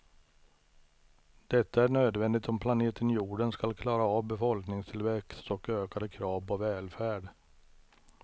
Detta är nödvändigt om planeten jorden ska klara av befolkningstillväxt och ökade krav på välfärd.